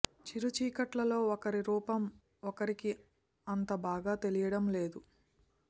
చిరు చీకట్లలో ఒకరి రూపం ఒకరికి అంత బాగా తెలియటం లేదు